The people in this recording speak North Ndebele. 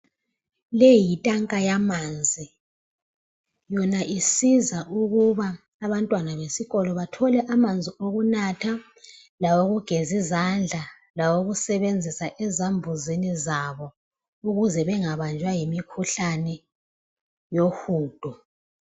Le yitanka yamanzi. Yona isiza ukuba abantwana besikolo bathole amanzi okunatha, lawo kugezi izandla lawo kusebenzisa ezambuzini zabo. Ukuze bangabanjwa yimi mikhuhlane yohudo.